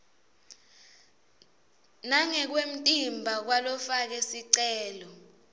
nangekwemtimba kwalofake sicelo